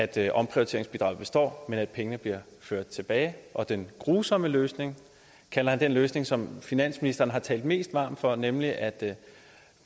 det at omprioriteringsbidraget består men at pengene bliver ført tilbage og den grusomme løsning kalder han den løsning som finansministeren har talt mest varmt for nemlig at